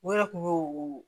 U yɛrɛ kun y'o